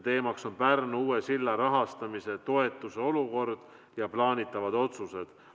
Teemaks on Pärnu uue silla rahastamise toetuse olukord ja plaanitavad otsused.